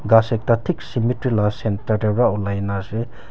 ghass ekta thik cemetery loya centre tah teh para olai na ase.